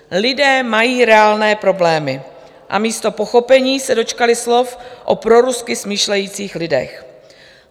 Lidé mají reálné problémy a místo pochopení se dočkali slov o prorusky smýšlejících lidech.